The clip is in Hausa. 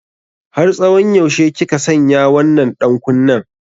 Har tsawon yaushe kika sanya wannan ɗankunnen?